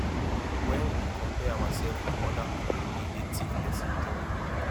when we compare ourself with oda pipo e dey thief person joy